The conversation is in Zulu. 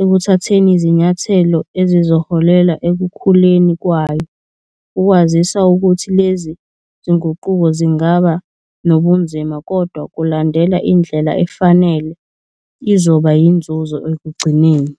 ekuthatheni izinyathelo ezizoholela ekukhuleni kwayo, ukwazisa ukuthi lezi zinguquko zingaba nobunzima kodwa kulandela indlela efanele izoba yinzuzo ekugcineni.